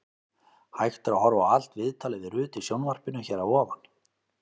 Hægt er að horfa á allt viðtalið við Rut í sjónvarpinu hér að ofan.